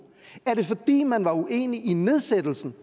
er det fordi man var uenig i nedsættelsen